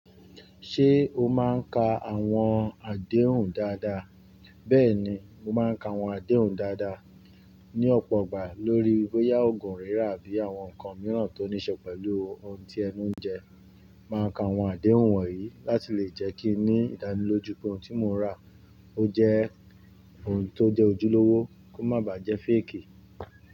Ṣé o máa ń ka àwọn àdéhùn dáadáa? Bẹ́ẹ̀ni, mo máa ń ka àwọn àdéhùn dáadáa. Ni ọ̀pọ̀ ọgbà lórí bọ́yá oògùn rírà àbí àwọn nǹkan mìíràn tó níí ṣe pẹ̀lú ohun tí ẹnu ń jẹ. Máa ka àwọn àdéhùn wọ̀nyí láti lè jẹ́ kí ní ìdánilójú pé ohun tí mo rà ó jẹ́ ohun tó jẹ́ ojúlówó kó má bàá jẹ́ faakì.